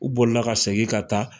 U bolila ka segin ka taa.